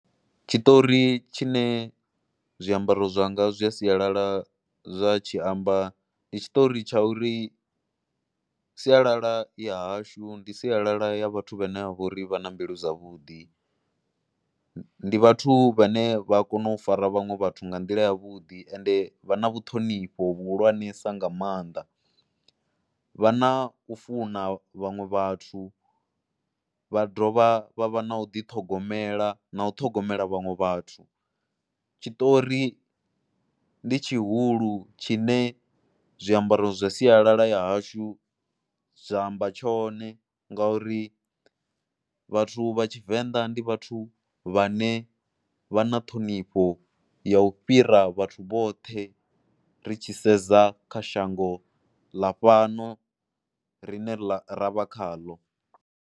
Tshiṱori tshine zwiambaro zwanga zwa sialala zwa tshi amba ndi tshiṱori tsha uri sialala ya hashu ndi sialala ya vhathu vhane ha vha uri vha na mbilu dzavhuḓi, ndi vhathu vhane vha kona u fara vhaṅwe vhathu nga nḓila yavhuḓi ende vha na vhuṱhonifho vhuhulwanesa nga maanḓa. Vha na u funa vhaṅwe vhathu vha dovha vha vha na u ḓiṱhogomela na u ṱhogomela vhaṅwe vhathu. Tshiṱori ndi tshihulu tshine zwiambaro zwa sialala ya hashu zwa amba tshone ngauri vhathu vha Tshivenḓa ndi vhathu vha ne vha na ṱhonifho ya u fhira vhathu vhoṱhe ri tshi sedza kha shango ḽa fhano ri ne ḽa ra vha khaḽo.